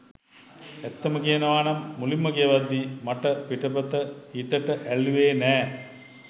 ඇත්තම කියනවනම් මුලින්ම කියවද්දි මට පිටපත හිතට ඇල්ලුවෙ නෑ.